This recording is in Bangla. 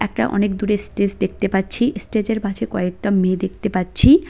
একটা অনেক দূরে স্টেজ দেখতে পাচ্ছি এস্টেজের পাশে কয়েকটা মেয়ে দেখতে পাচ্ছি।